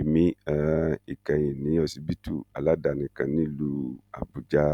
ìmí um ìkẹyìn ní ọsibítù aládàáni kan nílùú àbújá